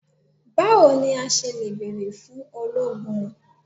Bawo ni a ṣe le beere fun ologun?